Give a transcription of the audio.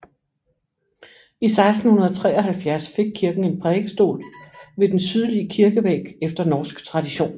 I 1673 fik kirken en prædikestol ved den sydlige kirkevæg efter norsk tradition